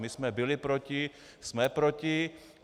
My jsme byli proti, jsme proti.